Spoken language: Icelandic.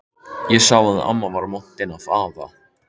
Ég sá að amma var montin af afa.